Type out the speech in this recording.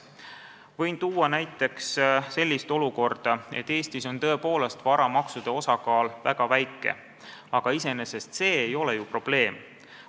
Võin tuua näiteks selle, et Eestis on varamaksude osakaal tõepoolest väga väike, aga iseenesest ei ole see ju probleem.